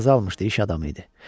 İcazə almışdı, iş adamı idi.